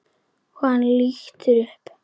Og hann lítur upp.